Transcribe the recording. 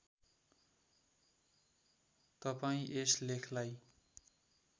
तपाईँ यस लेखलाई